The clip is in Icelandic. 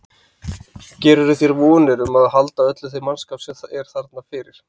Gerirðu þér vonir um að halda öllum þeim mannskap sem er þarna fyrir?